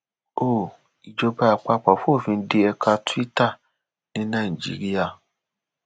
ó ìjọba àpapọ fòfin dé ẹka tuita ní nàìjíríà